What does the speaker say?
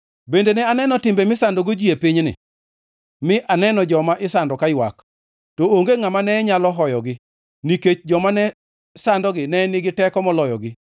Bende ne aneno timbe misandogo ji e pinyni, mi aneno joma isando kaywak to onge ngʼama ne nyalo hoyogi, nikech joma ne sandogi ne nigi teko moloyogi.